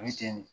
O ye tiɲɛ de ye